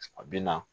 A bi na